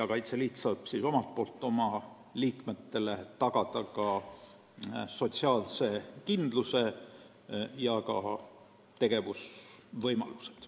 Kaitseliit saab omalt poolt oma liikmetele tagada nii sotsiaalse kindluse kui ka tegevusvõimalused.